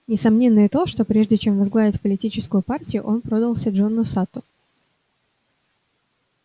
несомненно и то что прежде чем возглавить политическую партию он продался джону сатту